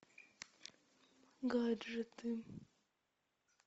гаджеты